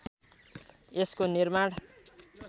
यसको निर्माण